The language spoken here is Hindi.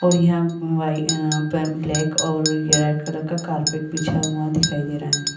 और यहाँ वाई अअ पर ब्लैक और रेड कलर का कारपेट बिछा हुआं दिखाई दे रहा है।